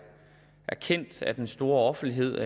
kendt af den store offentlighed